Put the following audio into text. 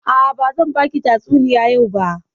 A'a, bazan baki tatsuniya yau ba.